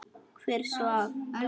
Hver svaf?